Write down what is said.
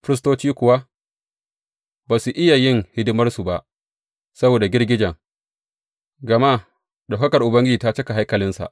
Firistocin kuwa ba su iya yin hidimarsu ba saboda girgijen, gama ɗaukakar Ubangiji ta cika haikalinsa.